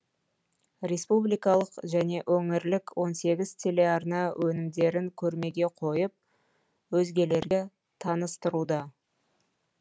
республикалық және өңірлік он сегіз телеарна өнімдерін көрмеге қойып өзгелерге таныстыруда